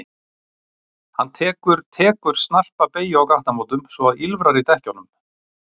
Hann tekur tekur snarpa beygju á gatnamótum svo að ýlfrar í dekkjunum.